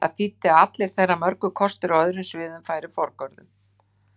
Það þýddi að allir þeirra mörgu kostir á öðrum sviðum færu forgörðum.